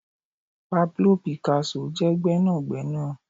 Pablo Picasso je gbénàgbénà